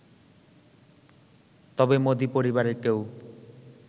তবে মোদি পরিবারের কেউ